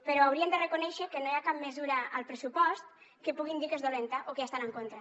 però haurien de reconèixer que no hi ha cap mesura al pressupost que puguin dir que és dolenta o que hi estan en contra